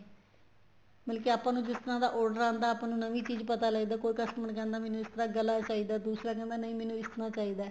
ਮਤਲਬ ਕੀ ਆਪਾਂ ਨੂੰ ਜਿਸ ਤਰ੍ਹਾਂ ਦਾ order ਆਂਦਾ ਹੈ ਆਪਾਂ ਨੂੰ ਨਵੀਂ ਚੀਜ਼ ਪਤਾ ਲੱਗਦੀ ਏ ਕੋਈ customer ਕਹਿੰਦਾ ਮੈਨੂੰ ਇਸ ਤਰ੍ਹਾਂ ਗਲਾ ਚਾਹੀਦਾ ਹੈ ਦੂਸਰਾ ਕਹਿੰਦਾ ਨਹੀਂ ਮੈਨੂੰ ਇਸ ਤਰ੍ਹਾਂ ਚਾਹੀਦਾ ਹੈ